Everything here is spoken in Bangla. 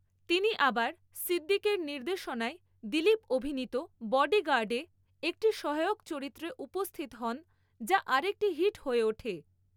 তিনি আবার সিদ্দিকের নির্দেশনায় দিলীপ অভিনীত বডিগার্ডে একটি সহায়ক চরিত্রে উপস্থিত হন, যা আরেকটি হিট হয়ে ওঠে।